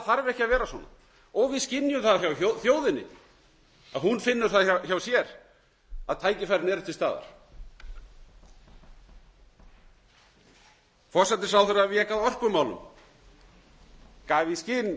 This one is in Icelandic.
þarf ekki að vera svona og við skynjum það hjá þjóðinni að hún finnur það hjá sér að tækifærin eru til staðar forsætisráðherra vék að orkumálum gaf í skyn